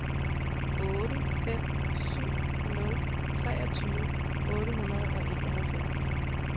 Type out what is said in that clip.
otte fem syv nul treogtyve otte hundrede og enoghalvfjerds